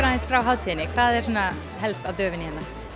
aðeins frá hátíðinni hvað er á döfinni